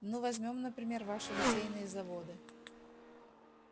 ну возьмём например ваши литейные заводы